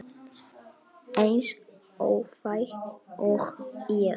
Eins óþæg og ég?